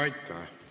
Aitäh!